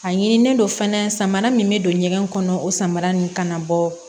A ɲinilen don fɛnɛ samara min bɛ don ɲɛgɛn kɔnɔ o samara ninnu kana bɔ